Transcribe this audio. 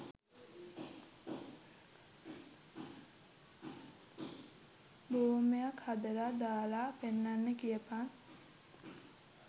බෝම්බයක් හදලා දාලා පෙන්නන්න කියපන්